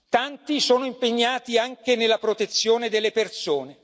Tanti sono impegnati anche nella protezione delle persone.